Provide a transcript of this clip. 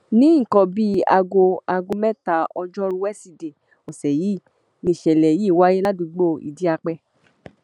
ní nǹkan bíi aago aago mẹ́ta ọjọ́rùú wẹ́sìdeè ọ̀sẹ̀ yìí nìṣẹ̀lẹ̀ yìí wáyé ládùúgbò ìdíape